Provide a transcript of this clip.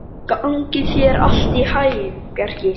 Gangi þér allt í haginn, Bjarki.